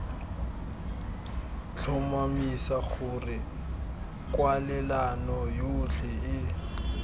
tlhomamisa gore kwalelano yotlhe e